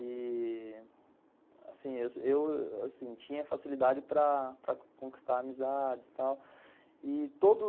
E assim, eu assim tinha facilidade para conquistar amizades e tal. E todo